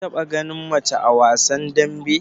Kin taba gani mace a wasan dambe?